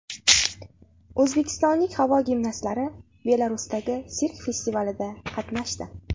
O‘zbekistonlik havo gimnastlari Belarusdagi sirk festivalida qatnashdi.